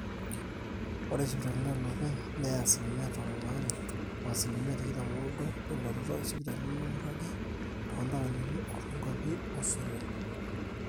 ore sipitalini ooloopeny neya asilimia tomon aare o asilimia tikitam ooudo elototo esipitali nemeiragi too ntaoni o too nkwapi ooseroi